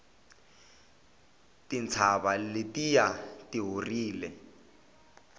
tintshava letiya ti horile